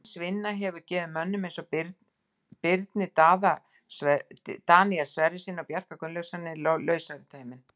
Hans vinna hefur gefið mönnum eins og Birni Daníel Sverrissyni og Bjarka Gunnlaugssyni lausari tauminn.